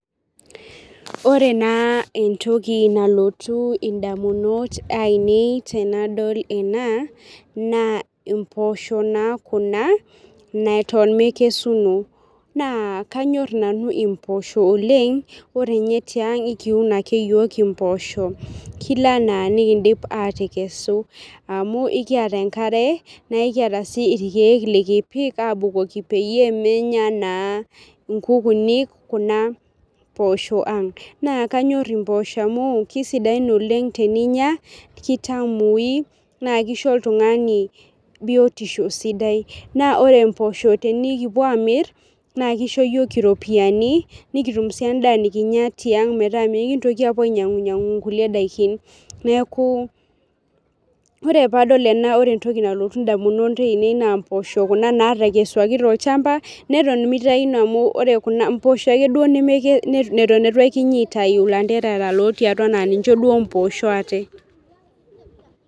Wore naa entoki nalotu indamunot aiinei tenadol ena, naa impoosho naa kuna, neton mekesuno. Naa kanyor nanu impoosho oleng', wore ninye tiang ekiun ake iyiok impoosho, kila enaa nikiindip aatekesu. Amuu ekiata enkare, naa ekiata sii irkiek likipik aabukoki peyie menya naa inkukuni kuna poosho ang'. Naa kanyor impoosho amu keisidain oleng' teninya, kitamui, naa kisho oltungani bietisho sidai. Naa wore impoosho tenikipuo aamirr, naa kisho iyiok iropiyani, nikitum sii endaa nikinya tiang metaa mikintoki aapuo ainyiangu nyiangu kulie daikin. Neeku wore pee adol ena wore entoki nalotu indamunot aiinei naa impoosho kuna naatekesuaki tolshamba, neton mitayuno amu wore kuna impoosho ake duo neton itu ekinyi aitayu ilanterera looti atua naa ninche duo impoosho aate.